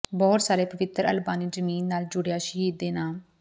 ਬਹੁਤ ਸਾਰੇ ਪਵਿੱਤਰ ਅਲਬਾਨੀ ਜ਼ਮੀਨ ਨਾਲ ਜੁੜਿਆ ਸ਼ਹੀਦ ਦੇ ਨਾਮ